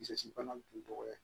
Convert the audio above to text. Bisisi bana tun tɔgɔ ye